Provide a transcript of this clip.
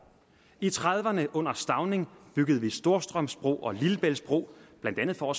i nitten trediverne under stauning byggede vi storstrømsbroen og lillebæltsbroen blandt andet for